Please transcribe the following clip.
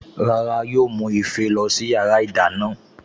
Rárá yóò mú ife lọ sí yàrá ìdáná